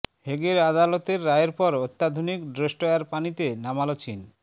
হেগের আদালতের রায়ের পর অত্যাধুনিক ডেস্ট্রয়ার পানিতে নামাল চীন